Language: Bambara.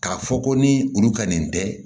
K'a fɔ ko ni olu ka nin tɛ